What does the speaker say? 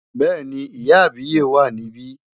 Bẹ́ẹ̀ni, ìyá àbíyè wà níbí.